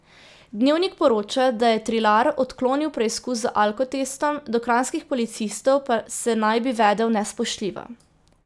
Dnevnik poroča, da je Trilar odklonil preizkus z alkotestom, do kranjskih policistov pa se naj bi vedel nespoštljivo.